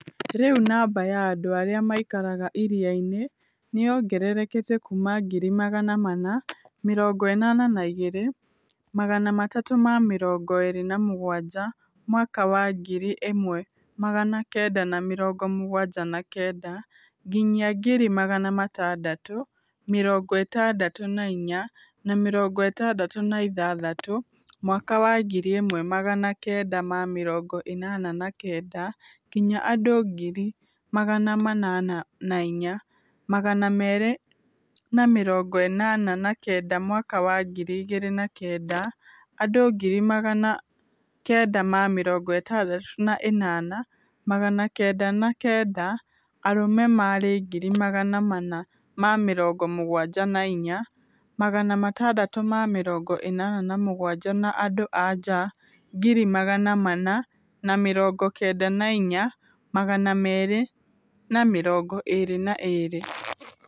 Rĩu namba ya andũ arĩa maikaraga Iriainĩ nĩyongerekete kuma ngiri magana mana, mĩrongo ĩnana na igĩrĩ, magana matatu ma mĩrongo ĩrĩ na mũgwanja mwaka wa ngiri ĩmwe magana kenda na mĩrongo mũgwanja na kenda nginyia ngiri magana matandatũ, mĩrongo ĩtandatũ na inya, na mĩrongo ĩtandatũ na ithathatũ mwaka wa ngiri ĩmwe magana kenda ma miringo inana na kenda nginya andu ngiri magana manana na inya, magana meri na mirongo inana na kenda mwaka wa ngiri igiri na kenda, andu ngiri magana kenda ma mirongo itandatu na inana, magana kenda na kenda, arume mari ngiri magana mana ma mirongo mugwanja na inya, magana matandatu ma mirongo inana na mugwanja na andu a aja ngiri magana mana na mirongo kenda na inya, magana meri na mirongo iri na ĩrĩ.